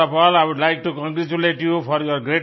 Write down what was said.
first of all I would like to congratulate you for your